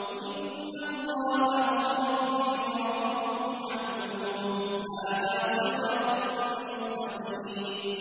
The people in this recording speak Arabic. إِنَّ اللَّهَ هُوَ رَبِّي وَرَبُّكُمْ فَاعْبُدُوهُ ۚ هَٰذَا صِرَاطٌ مُّسْتَقِيمٌ